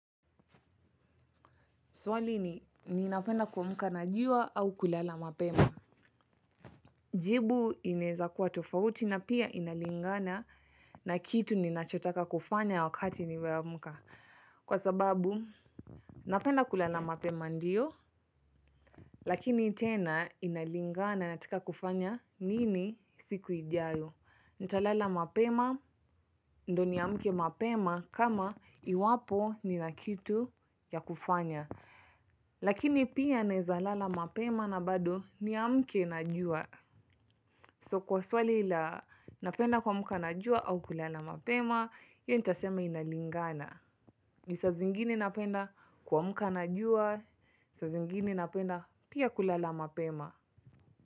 Swali ni ninapenda kuamka na jua au kulala mapema. Jibu inaeza kuwa tofauti na pia inalingana na kitu ninachotaka kufanya wakati nimeamka. Kwa sababu, napenda kulala mapema ndio. Lakini tena inalingana nataka kufanya nini siku ijayo. Ntalala mapema, ndo niamke mapema kama iwapo nina kitu ya kufanya. Lakini pia naeza lala mapema na bado niamke na jua So kwa swali ia napenda kuamka na jua au kulala mapema hiyo nitasema inalingana ju saa zingine napenda kuamka na jua sa zingine napenda pia kulala mapema.